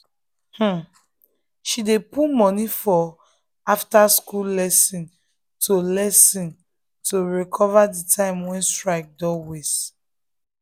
um she dey put money for after-school lesson to lesson to recover the time wey strike don waste.